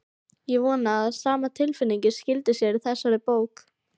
Ég vona að sama tilfinning skili sér í þessari bók.